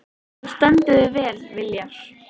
Þú stendur þig vel, Viljar!